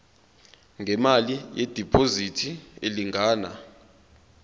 ngemali yediphozithi elingana